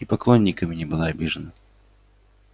и поклонниками не была обижена